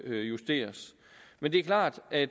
justeres men det er klart at